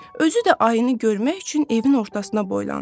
Özü də ayını görmək üçün evin ortasına boylandı.